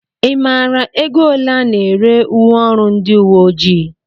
I maara ego ole a na-ere uwe ọrụ ndị uwe ojii?